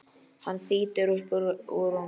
Hann þýtur upp úr rúminu.